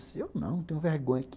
Eu disse, eu não tenho vergonha.